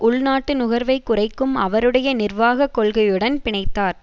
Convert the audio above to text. உள்நாட்டு நுகர்வைக் குறைக்கும் அவருடைய நிர்வாக கொள்கையுடன் பிணைத்தார்